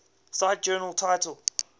cite journal title